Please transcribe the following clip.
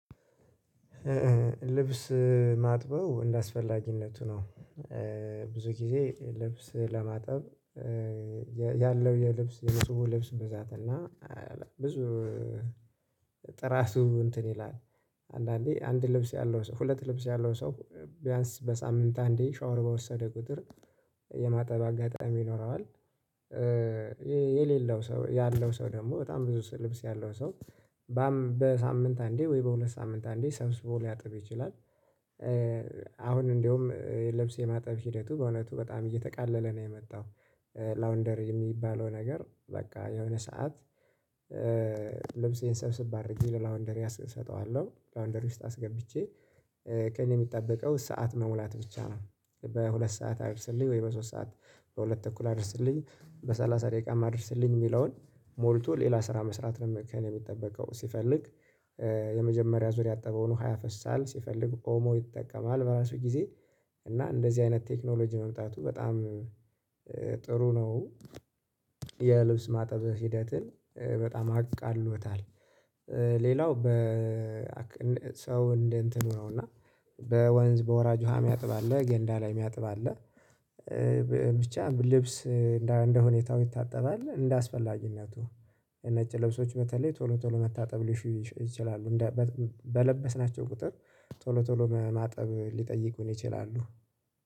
ልብስ ማጥበው እንደአስፈላጊነቱ ነው። ብዙ ጊዜ ልብስ ለማጠብ ያለው የልብስ ንጹህ ልብስ ብዛት እና ብዙ ጥራቱ እንትን ይላል አንዳንዴ አንድ ልብስ ያለው ሰው ሁለት ልብስ ያለው ሰው ቢያንስ በሳምንት አንዴ ሻወር በወሰደ ቁጥር የማጠብ አጋጣሚ ይኖረዋል። የሌለው ሰው ያለው ሰው ደግሞ በጣም ብዙ ልብስ ያለው ሰው በሳምንት አንዴ ወይ በሁለት ሳምንት አንዴ ሰምስቦ ሊያጥብ ይችላል። አሁን እንደውም ልብስ የማጠብ ሂደቱ በእውነቱ በጣም እየተቃለለ ነው የመጣው። ላውንደር የሚባለው ነገር በቃ የሆነ ሰዓት ልብሴን ስብሰብ አድርጌ ለላውንደሪ አስጠዋለሁ ላውንደሪ ውስጥ አስገብቼ ከእኔ የሚጠበቀው ሰዓት መሙላት ብቻ ነው። በሁለት ሰዓት አድርስልኝ ወይ በሶስት ሰዓት በሁለት ተኩል አድርስልኝ በሰላሳ ደቂቃ አድርስልኝ የሚለውን ሞልቶ ሌላ ስራ መስራት ነው ከእኔ የሚጠበቀው ሲፈልግ የመጀመሪያ ዙር ያጠበውን ውሃ ያፈሳል ሲፈልግ ኦሞ ይጠቀማል በራሱ ጊዜ እና እንደዚህ አይነት ቴክኖሎጂ መምጣቱ በጣም ጥሩ ነው። የልብስ ማጠብ ሂደትን በጣም አቃሎታል። በሰው እንደ እንትኑ ነው እና በወንዝ በወራጅ ውሃ የሚያጥብ አለ ገንዳ ላይ የሚያጥብ አለ ብቻ ልብስ እንደ እንደ ሁኔታው ይታጠባል እንዳአስፈላጊነቱ። ነጭ ልብሶች በተለይ ቶሎ ቶሎ መታጠብ ሊሹ ይችላሉ። በለበስናቸው ቁጥር ቶሎ ቶሎ ማጠብ ሊጠይቁን ይችላሉ